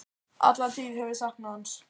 Alla tíð hef ég saknað hans.